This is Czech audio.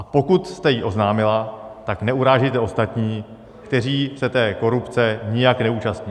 A pokud jste ji oznámila, tak neurážejte ostatní, kteří se té korupce nijak neúčastní.